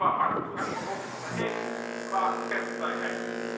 Qua marktoegang bijvoorbeeld, maar evengoed qua persvrijheid.